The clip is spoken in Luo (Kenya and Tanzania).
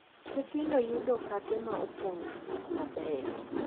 Nyithindo yudo okape ma opong’ gi gik mabeyo,